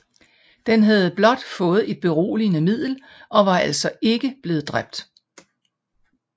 Den havde blot fået et beroligende middel og var altså ikke blevet dræbt